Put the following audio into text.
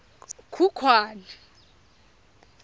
khukhwane